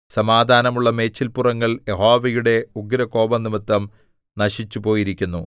സമാധാനമുള്ള മേച്ചില്പുറങ്ങൾ യഹോവയുടെ ഉഗ്രകോപംനിമിത്തം നശിച്ചുപോയിരിക്കുന്നു